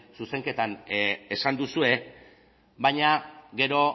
zuzenketan esan duzue baina gero